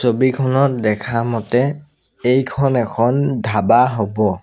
ছবিখনত দেখা মতে এইখন এখন ধাবা হ'ব।